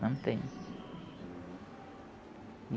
Não tenho.